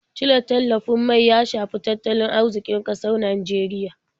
Cire tallafin mai ya shafi tattalin arziƙin ƙasar Nijeriya.